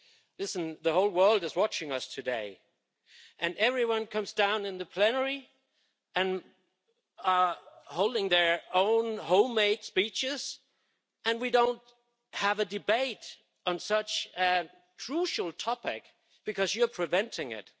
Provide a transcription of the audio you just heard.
Listen, the whole world is watching us today and everyone comes down in the plenary and holds their own homemade speeches and we don't have a debate on such a crucial topic, because you're preventing it.